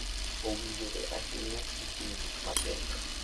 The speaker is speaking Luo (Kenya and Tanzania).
Owinjore ahinya gi ting'o gik mapek.